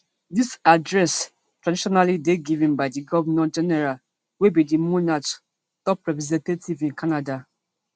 dis address traditionally dey given by di govnor general wey be di monarch top representative in canada